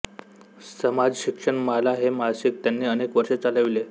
समाजशिक्षण माला हे मासिक त्यांनी अनेक वर्षे चालवले